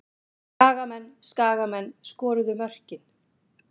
Skagamenn Skagamenn skoruðu mörkin.